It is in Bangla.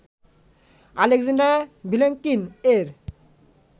আলেকজাণ্ডার ভিলেঙ্কিন এর